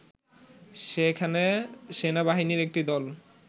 সেখানে সেনাবাহিনীর একটি দল